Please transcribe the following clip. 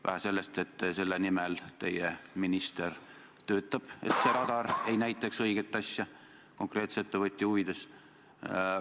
Nagu oleks vähe sellest, et teie minister töötab selle nimel, et see radar ei näitaks õiget asja, seda konkreetse ettevõtja huvides.